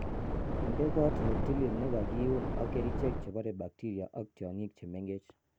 Inde koot ne tilil ne kaiun ak kerichek chebore bakteria ak tiongik che mengech.